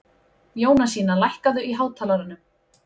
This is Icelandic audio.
Jónasína, lækkaðu í hátalaranum.